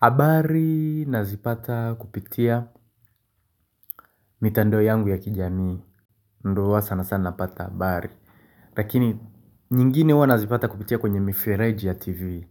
Habari nazipata kupitia mitandao yangu ya kijamii. Ndio huwa sanasana napata habari. Lakini nyingine huwa nazipata kupitia kwenye mifereji ya tv.